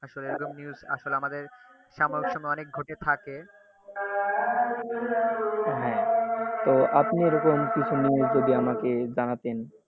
এরকম news আসলে সামনা সামনি অনেক ঘটে থাকে তো আপনি যদি এরকম কিছু news আপনি জানাতেন ট,